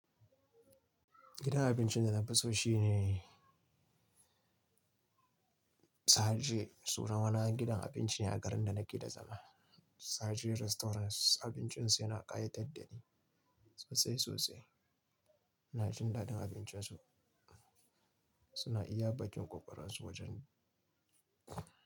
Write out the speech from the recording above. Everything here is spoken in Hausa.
Gidan abincin da na fi so shine Saje. Sunan wani gidan abinci a garin da nake da zama. Saje Restaurant abincin su yana ƙayatar da ni sosai sosai. Ina jin daɗin abincin su. Suna iya baƙin ƙokarin su wajen.